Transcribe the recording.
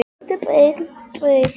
Ó þessir indælu söngvar sem hann kunni.